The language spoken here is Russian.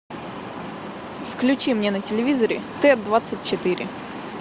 включи мне на телевизоре т двадцать четыре